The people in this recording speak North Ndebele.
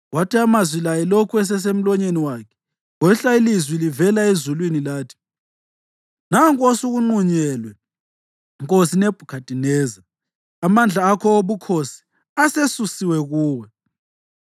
Kwathi amazwi la elokhu esesemlonyeni wakhe kwehla ilizwi livela ezulwini lathi, “Nanku osukunqunyelwe, nkosi Nebhukhadineza: Amandla akho obukhosi asesusiwe kuwe.